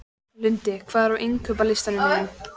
Lundi, hvað er á innkaupalistanum mínum?